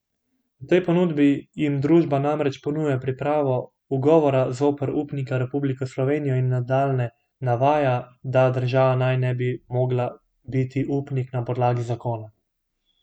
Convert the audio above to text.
V tej ponudbi jim družba namreč ponuja pripravo ugovora zoper upnika Republiko Slovenijo in nadalje navaja, da država naj ne bi mogla biti upnik na podlagi zakona.